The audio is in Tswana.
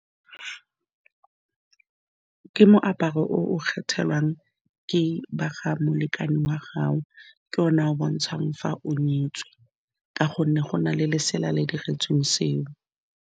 Ke moaparo o o kgethelwang ke ba ga molekane wa gago ke one a bontshang fa o nyetswe ka gonne go na le lesela le diretsweng seo.